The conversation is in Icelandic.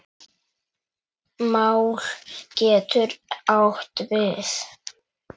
Mál getur átt við